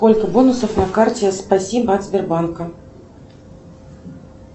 сколько бонусов на карте спасибо от сбербанка